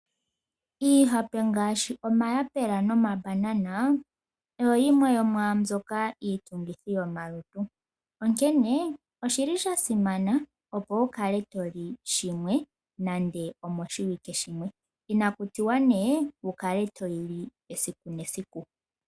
Iihape ngaashi omayapula nomambanana oyo yimwe yomwaambyoka iitungithi yomalutu onkene oshi li sha simana opo wu kale toli shimwe nande lumwe moshiwike, inakutiwa nee wukale toyi li esiku nesiku.